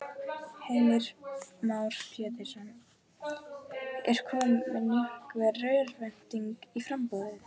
Heimir Már Pétursson: Er komin einhver örvænting í í framboðið?